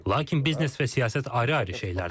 Lakin biznes və siyasət ayrı-ayrı şeylərdir.